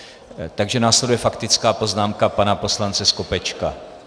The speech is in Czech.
Takže následuje faktická poznámka pana poslance Skopečka.